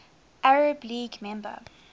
arab league member